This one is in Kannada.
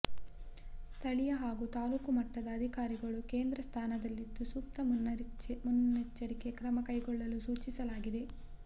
ಸ್ಥಳೀಯ ಹಾಗೂ ತಾಲೂಕಾ ಮಟ್ಟದ ಅಧಿಕಾರಿಗಳು ಕೇಂದ್ರ ಸ್ಥಾನದಲ್ಲಿದ್ದು ಸೂಕ್ತ ಮುನ್ನೆಚ್ಚರಿಕೆ ಕ್ರಮ ಕೈಗೊಳ್ಳಲು ಸೂಚಿಸಲಾಗಿದೆ